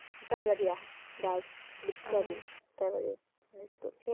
তাবাড়িয়া girls sorry তাবাড়ীয়া